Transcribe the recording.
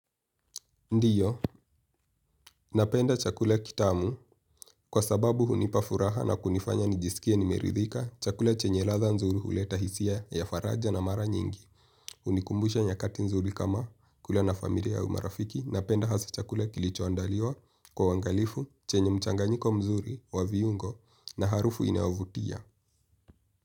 Ndiyo, napenda chakula kitamu kwa sababu hunipa furaha na kunifanya nijisikie nimeridhika chakula chenye latha nzuri huleta hisia ya faraja na mara nyingi. Unikumbusha nyakati nzuri kama kule na familia au marafiki, napenda hasa chakula kilichoandaliwa kwa uwangalifu chenye mchanganyiko mzuri wa viungo na harufu inayovutia.